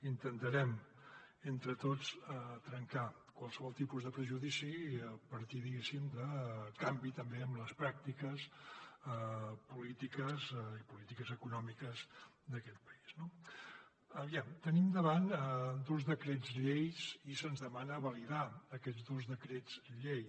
intentarem entre tots trencar qualsevol tipus de prejudici i a partir diguéssim de canvi també en les pràctiques polítiques i polítiques econòmiques d’aquest país no aviam tenim davant dos decrets llei i se’ns demana validar aquests dos decrets llei